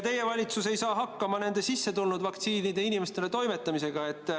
Teie valitsus ei saa hakkama sissetulnud vaktsiinide inimesteni toimetamisega.